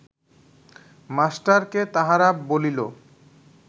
মাস্টারকে তাহারা বলিল